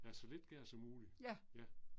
Ja så lidt gør som muligt. Ja